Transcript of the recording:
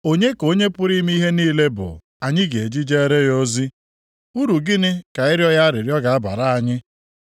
Onye ka Onye pụrụ ime ihe niile bụ, anyị ga-eji jeere ya ozi? Uru gịnị ka ịrịọ ya arịrịọ ga-abara anyị?’